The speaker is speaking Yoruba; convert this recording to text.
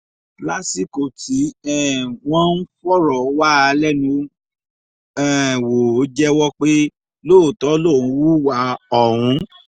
lásìkò tí um wọ́n ń fọ̀rọ̀ wá a lẹ́nu um wò ó jẹ́wọ́ pé lóòótọ́ lòun hùwà ọ̀hún